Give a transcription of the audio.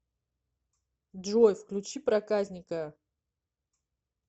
джой включи проказника